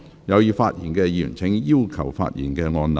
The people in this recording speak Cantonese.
有意發言的議員請按"要求發言"按鈕。